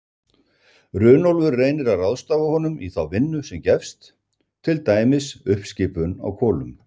Runólfur reynir að ráðstafa honum í þá vinnu sem gefst, til dæmis uppskipun á kolum.